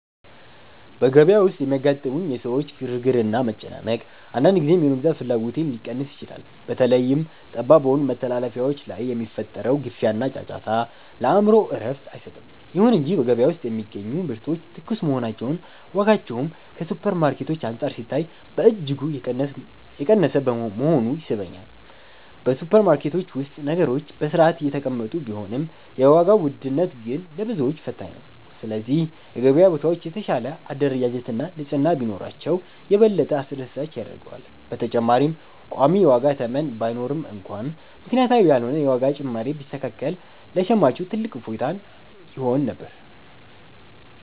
በገበያ ውስጥ የሚያጋጥሙኝ የሰዎች ግርግርና መጨናነቅ፣ አንዳንድ ጊዜ የመግዛት ፍላጎቴን ሊቀንስ ይችላል። በተለይም ጠባብ በሆኑ መተላለፊያዎች ላይ የሚፈጠረው ግፊያና ጫጫታ፣ ለአእምሮ እረፍት አይሰጥም። ይሁን እንጂ በገበያ ውስጥ የሚገኙ ምርቶች ትኩስ መሆናቸውና ዋጋቸውም ከሱፐርማርኬቶች አንፃር ሲታይ በእጅጉ የቀነሰ መሆኑ ይስበኛል። በሱፐርማርኬቶች ውስጥ ነገሮች በሥርዓት የተቀመጡ ቢሆንም፣ የዋጋው ውድነት ግን ለብዙዎች ፈታኝ ነው። ስለዚህ የገበያ ቦታዎች የተሻለ አደረጃጀትና ንጽሕና ቢኖራቸው፣ የበለጠ አስደሳች ያደርገዋል። በተጨማሪም ቋሚ የዋጋ ተመን ባይኖርም እንኳን፣ ምክንያታዊ ያልሆነ የዋጋ ጭማሪ ቢስተካከል ለሸማቹ ትልቅ እፎይታ ይሆን ነበር።